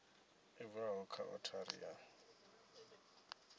i bvaho kha othari ya